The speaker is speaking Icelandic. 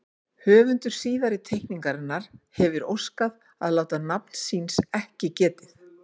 Höfundur síðari teikningarinnar hefir óskað að láta nafns síns ekki getið.